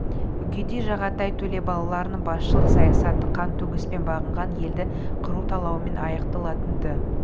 үгедей жағатай төле балаларының басшылық саясаты қан төгіспен бағынған елді қыру талаумен аяқталатын-ды